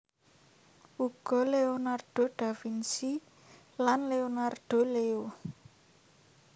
Uga Leonardo Da Vinci lan Leonardo Leo